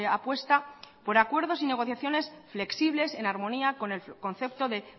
apuesta por acuerdos y negociaciones flexibles en armonía con el concepto de